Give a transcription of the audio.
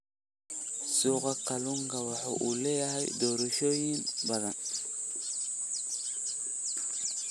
Suuqa kalluunka waxa uu leeyahay doorashooyin badan.